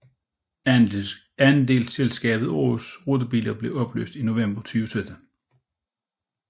Andelsselskabet Aarhus rutebilstation blev opløst i november 2017